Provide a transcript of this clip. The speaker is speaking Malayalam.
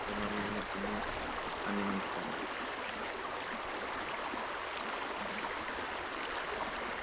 ഇത്രയും പറഞ്ഞു ഞാൻ നിർത്തുന്നു. നന്ദി നമസ്കാരം.